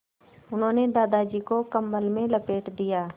उन्होंने दादाजी को कम्बल में लपेट दिया